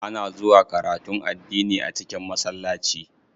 Ana zuwa karatun addini a cikin masallaci.